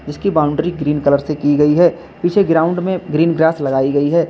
इसकी boundary green colour से की गई है पीछे ग्राउंड में ग्रीन ग्रास लगाई गई है।